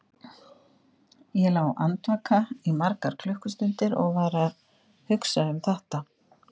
Ég lá andvaka í margar klukkustundir og var að hugsa um þetta.